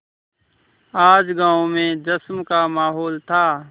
आज गाँव में जश्न का माहौल था